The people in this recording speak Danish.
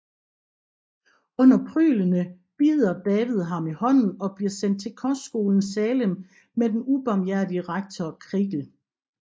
Under pryglene bider David ham i hånden og bliver sendt til kostskolen Salem med den ubarmhjertige rektor Creakle